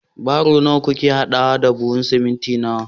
baro nawa kuke hadawa da buhun siminti